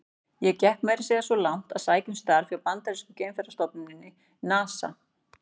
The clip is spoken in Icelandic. Ég gekk meira að segja svo langt að sækja um starf hjá bandarísku geimferðastofnuninni, NASA.